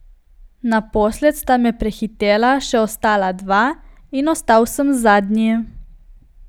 Naposled sta me prehitela še ostala dva in ostal sem zadnji.